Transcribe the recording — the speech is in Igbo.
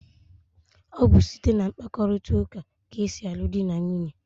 Ọ bụ site na mkparịkọtaụka ka e si alụ dị na nwunye.